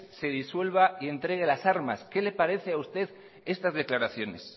se disuelva y entregue las armas qué le parece a usted estas declaraciones